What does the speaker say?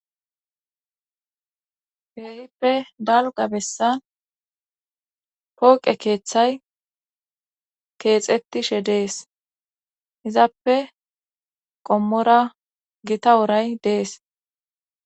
Ke'hippe dalgga bessan pooqe keeththay keexettishe dees izappe qommora gitta woray dees